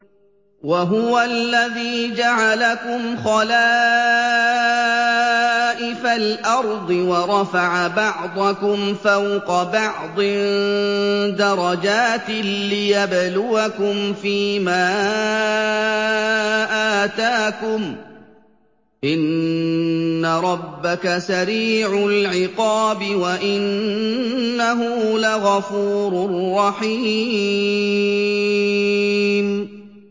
وَهُوَ الَّذِي جَعَلَكُمْ خَلَائِفَ الْأَرْضِ وَرَفَعَ بَعْضَكُمْ فَوْقَ بَعْضٍ دَرَجَاتٍ لِّيَبْلُوَكُمْ فِي مَا آتَاكُمْ ۗ إِنَّ رَبَّكَ سَرِيعُ الْعِقَابِ وَإِنَّهُ لَغَفُورٌ رَّحِيمٌ